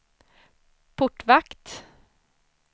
portvakt